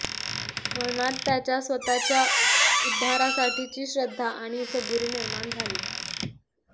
मनात त्याच्या स्वतःच्या उद्धारासाठीची श्रद्धा आणि सबुरी निर्माण झाली